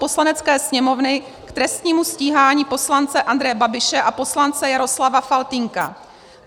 Poslanecké sněmovny k trestnímu stíhání poslance Andreje Babiše a poslance Jaroslava Faltýnka.